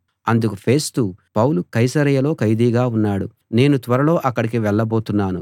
అందుకు Festus Paul కైసరయలో ఖైదీగా ఉన్నాడు నేను త్వరలో అక్కడికి వెళ్ళబోతున్నాను